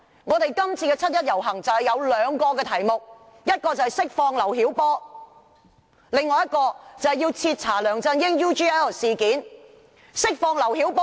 今年七一遊行有兩大訴求，第一是釋放劉曉波，第二是徹查梁振英 UGL 事件。